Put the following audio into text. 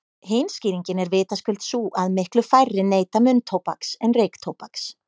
Hin skýringin er vitaskuld sú að miklu færri neyta munntóbaks en reyktóbaks.